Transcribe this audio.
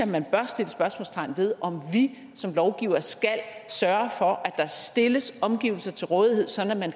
man bør sætte spørgsmålstegn ved om vi som lovgivere skal sørge for at der stilles omgivelser til rådighed sådan at man